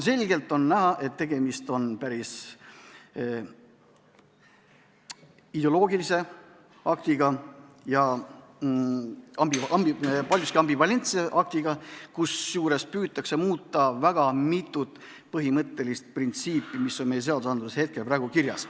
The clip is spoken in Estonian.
Selgelt on näha, et tegemist on päris ideoloogilise aktiga ja paljuski ambivalentse aktiga, kusjuures püütakse muuta väga mitut põhimõttelist printsiipi, mis on seadustes praegu kirjas.